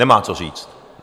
Nemá co říct.